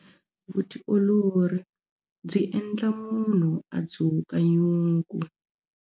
Vutiolori byi endla munhu a dzuka nyuku.